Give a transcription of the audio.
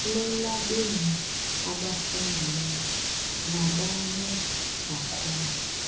lelabemi abafundileyo nabanezakhono